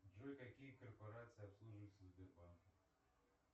джой какие корпорации обслуживаются сбербанком